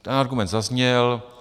Ten argument zazněl.